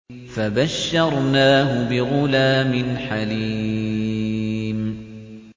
فَبَشَّرْنَاهُ بِغُلَامٍ حَلِيمٍ